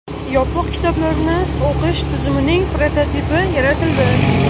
Yopiq kitoblarni o‘qish tizimining prototipi yaratildi.